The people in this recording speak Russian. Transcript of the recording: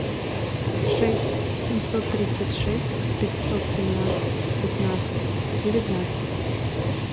шесть семьсот тридцать шесть пятьсот семнадцать пятнадцать девятнадцать